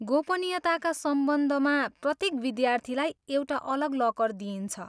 गोपनीयताका सम्बन्धमा, प्रत्येक विद्यार्थीलाई एउटा अलग लकर दिइन्छ।